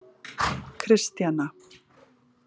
Kristjana